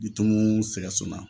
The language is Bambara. Jitimu sɛgɛson na.